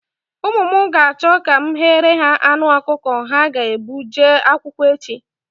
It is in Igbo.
Ụmụ m ga-achọ ka m ghere ha anụ ọkụkọ ha ga-ebu jee akwụkwọ echi.